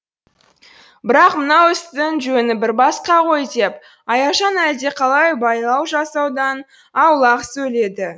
бірақ мынау істің жөні бір басқа ғой деп аяжан әлдеқалай байлау жасаудан аулақ сөйледі